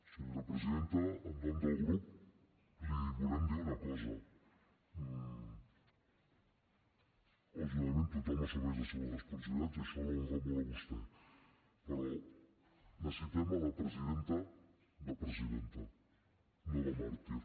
senyora presidenta en nom del grup li volem dir una cosa lògicament tothom assumeix les seves responsabilitats i això l’honra molt a vostè però necessitem la presidenta de presidenta no de màrtir